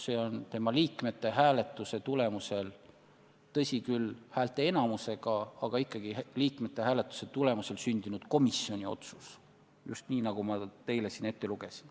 See on komisjoni liikmete hääletuse tulemusel – tõsi küll, häälteenamusega, aga ikkagi liikmete hääletuse tulemusel – sündinud komisjoni otsus ja just sellises sõnastuses, nagu ma selle teile siin ette lugesin.